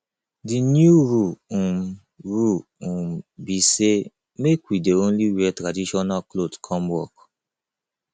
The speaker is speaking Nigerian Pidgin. the new rule um rule um be say make we dey only wear traditional cloth come work